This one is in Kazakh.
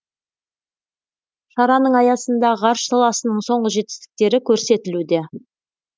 шараның аясында ғарыш саласының соңғы жетістіктері көрсетілуде